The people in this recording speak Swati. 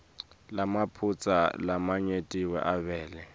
lamaphutsa lamanyenti avele